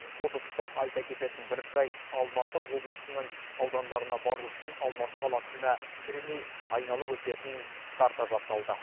осы тұста айта кететін бір жайт алматы облысының аудандарына бару үшін алматы қаласында кірмей айналып өтетін карта жасалды